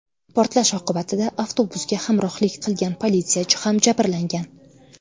Portlash oqibatida avtobusga hamrohlik qilgan politsiyachi ham jabrlangan.